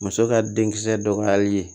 Muso ka denkisɛ dɔgɔyali ye